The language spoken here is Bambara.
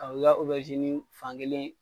A o bi ka fankelen.